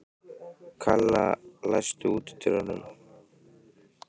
Kalla, læstu útidyrunum.